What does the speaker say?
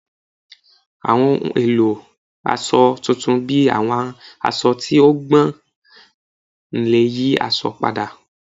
Awọn ohun elo aṣọ tuntun bi awọn aṣọ ti o gbọn le yi aṣọ pada